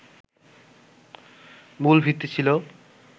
মূল ভিত্তি ছিল